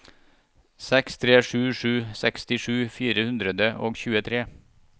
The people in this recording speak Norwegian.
seks tre sju sju sekstisju fire hundre og tjuetre